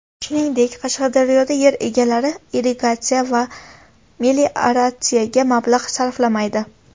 Shuningdek, Qashqadaryoda yer egalari irrigatsiya va melioratsiyaga mablag‘ sarflamaydi.